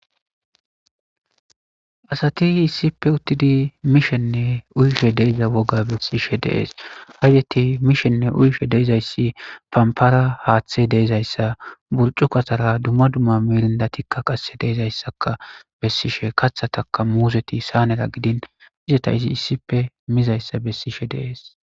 asati issippe uttidi mishenne uyishe deiza woga bessishe deees haydeti mishenne uyishe deizayssi pampara haaththe deezayssa burcu katara dumma dumma mirindatikka qase deezayssaka bessishe katha taka muuseti saanera gidin izeta izi issippe mizayssa bessishe dees